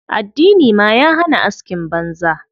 Addini ma ya hana askin banza.